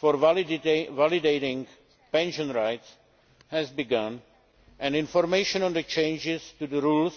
for validating pension rights has begun and information on the changes to the rules